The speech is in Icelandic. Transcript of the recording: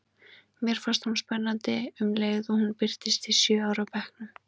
Mér fannst hún spennandi um leið og hún birtist í sjö ára bekknum.